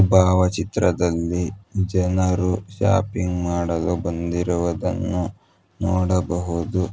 ಭಾವಚಿತ್ರದಲ್ಲಿ ಜನರು ಶಾಪಿಂಗ್ ಮಾಡಲು ಬಂದಿರುವುದನ್ನು ನೋಡಬಹುದು.